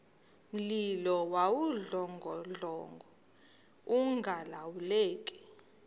mlilo wawudlongodlongo ungalawuleki